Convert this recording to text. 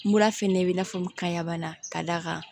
Mura fɛnɛ bɛ i n'a fɔ kayanbana ka d'a kan